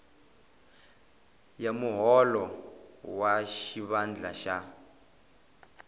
ya muholo wa xivandla xa